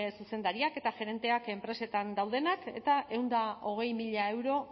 zuzendariak eta gerenteak enpresetan daudenak eta ehun eta hogei mila euro